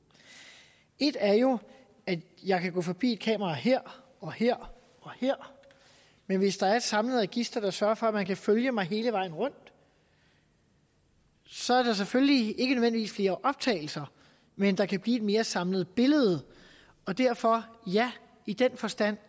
et er jo at jeg kan gå forbi et kamera her og her og her men hvis der er et samlet register der sørger for at man kan følge mig hele vejen rundt så er der selvfølgelig ikke nødvendigvis flere optagelser men der kan blive et mere samlet billede og derfor ja i den forstand